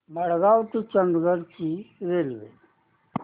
मडगाव ते चंडीगढ ची रेल्वे